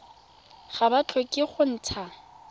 ga ba tlhoke go ntsha